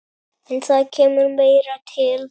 En það kemur meira til.